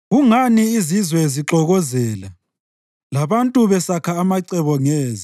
Kungani izizwe zixokozela, labantu besakha amacebo ngeze?